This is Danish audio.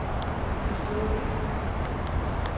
forstået